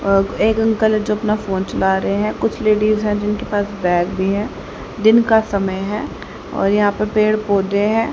एक अंकल है जो अपना फोन चला रहे हैं कुछ लेडिस है जिनके पास बैग भी है। दिन का समय है और यहां पर पेड़ पौधे हैं।